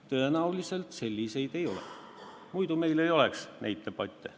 Tõenäoliselt selliseid ei ole, muidu meil ei oleks neid debatte.